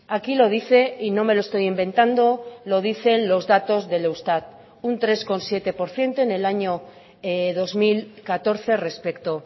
aquí lo dice y no me lo estoy inventando lo dicen los datos del eustat un tres coma siete por ciento en el año dos mil catorce respecto